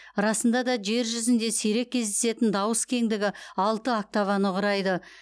расында да жер жүзінде сирек кездесетін дауыс кеңдігі алты октаваны құрайды